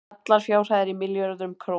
allar fjárhæðir í milljörðum króna